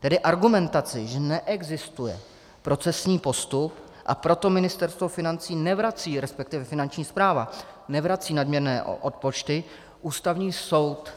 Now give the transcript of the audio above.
Tedy argumentaci, že neexistuje procesní postup, a proto Ministerstvo financí nevrací, respektive Finanční správa nevrací nadměrné odpočty, Ústavního soud